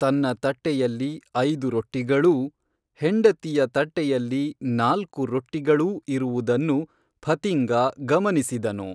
ತನ್ನ ತಟ್ಟೆಯಲ್ಲಿ ಐದು ರೊಟ್ಟಿಗಳೂ ಹೆಂಡತಿಯ ತಟ್ಟೆಯಲ್ಲಿ ನಾಲ್ಕು ರೊಟ್ಟಿಗಳೂ ಇರುವುದನ್ನು ಫತಿಂಗಾ ಗಮನಿಸಿದನು